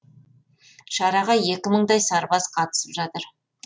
шараға екі мыңдай сарбаз қатысып жатыр